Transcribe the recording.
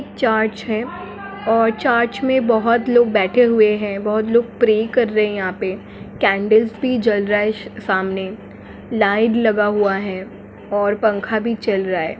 चारच है और चारच में बोहोत लोग बैठे हुए है बहुत लोग प्रे कर रहे है यहाँ पे कैंडल्स भी जल रइ सामने लाईट लगा हुआ है और पंखा भी चल रहा है।